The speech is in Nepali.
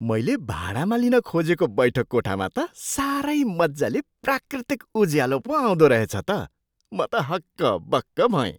मैले भाडामा लिन खोजेको बैठक कोठामा त साह्रै मजाले प्राकृतिक उज्यालो पो आउँदो रहेछ त। म त हक्कबक्क भएँ।